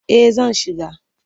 Eh zan shiga.